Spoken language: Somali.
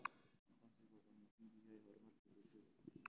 Aqoonsigu wuxuu muhiim u yahay horumarka bulshada.